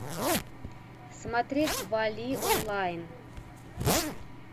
смотреть валли онлайн